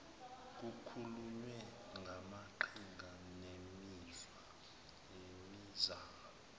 kukhulunywe ngamaqhinga nemizamo